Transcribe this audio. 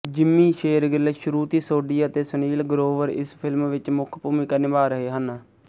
Jimmy Shergill Shruti Sodhi ਅਤੇ ਸੁਨੀਲ ਗਰੋਵਰ ਇਸ film ਵਿੱਚ ਮੁੱਖ ਭੂਮਿਕਾ ਨਿਭਾ ਰਹੇ ਹਨ